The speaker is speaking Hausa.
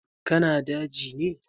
Ka na daji ne?